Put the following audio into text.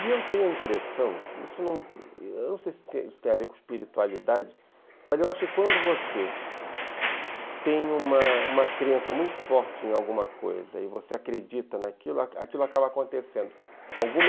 E eu tenho a impressão, eu não sei se isso tem a ver com espiritualidade, mas eu acho que quando você tem uma uma crença muito forte em alguma coisa e você acredita naquilo, aquilo aquilo acaba acontecendo.